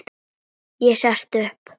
Ég sest upp.